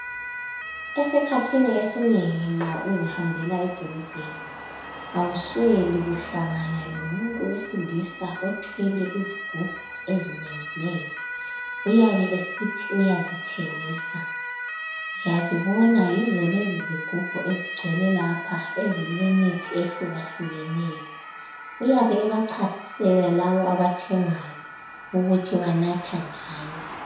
Esikhathini esinengi nxa uzihambela edolobheni awusweli kuhlangana lomuntu wesilisa othwele izigubhu ezinenginengi. Uyabe esithi uyazithengisa ngiyazibona yizo lezizigubhu ezigcwele lapha ezilemithi ehlukahlukeneyo. Uyabe ebachasisela labo abathengayo ukuthi banatha njani.